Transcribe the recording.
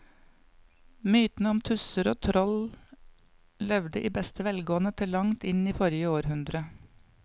Mytene om tusser og troll levde i beste velgående til langt inn i forrige århundre.